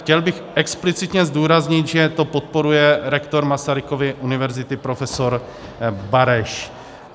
Chtěl bych explicitně zdůraznit, že to podporuje rektor Masarykovy univerzity profesor Bareš.